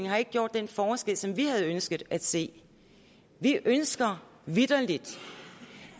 har gjort den forskel som vi havde ønsket at se vi ønsker vitterlig